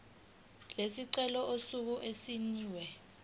lesicelo usuku okusayinwe